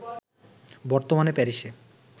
বর্তমানে প্যারিসে